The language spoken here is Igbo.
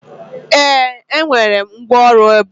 ee, enwere m ngwaọrụ ebe a